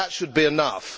That should be enough.